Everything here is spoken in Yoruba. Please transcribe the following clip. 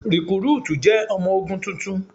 Rìkrúùtù jẹ́ ọmọ ogun tuntun.